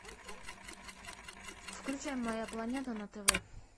включай моя планета на тв